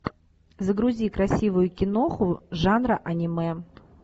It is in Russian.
загрузи красивую киноху жанра аниме